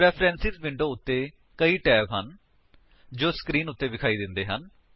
preference window ਉੱਤੇ ਕਈ tab ਹਨ ਜੋ ਸਕਰੀਨ ਉੱਤੇ ਵਿਖਾਈ ਦਿੰਦੇ ਹਨ